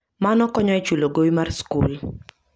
Mano konyo e chulo gowi mar skul.